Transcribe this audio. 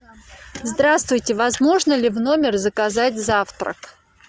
здравствуйте возможно ли в номер заказать завтрак